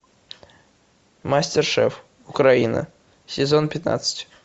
мастер шеф украина сезон пятнадцать